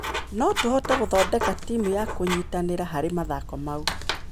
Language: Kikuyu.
No tũhote gũthondeka timu na kũnyitanĩra harĩ mathako mau.